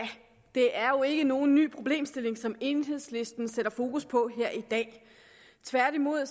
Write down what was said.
det er jo ikke nogen ny problemstilling som enhedslisten sætter fokus på her i dag tværtimod